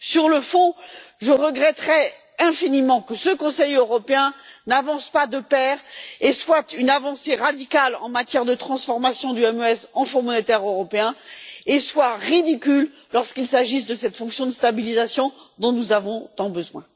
Sur le fond, je regretterais infiniment que ce Conseil européen n'avance pas de concert et soit une avancée radicale sur la voie de la transformation du MES en Fonds monétaire européen, et qu'il soit ridicule lorsqu'il s'agit de cette fonction de stabilisation dont nous avons tant besoin.